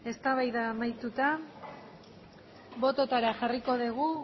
eztabaida amaituta bototara jarriko dugu